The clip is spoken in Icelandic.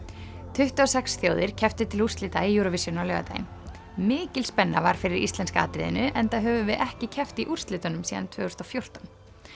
tuttugu og sex þjóðir kepptu til úrslita í Eurovision á laugardaginn mikil spenna var fyrir íslenska atriðinu enda höfum við ekki keppt í úrslitunum síðan tvö þúsund og fjórtán